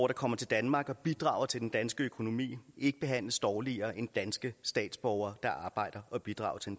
der kommer til danmark og bidrager til den danske økonomi ikke behandles dårligere end danske statsborgere der arbejder og bidrager til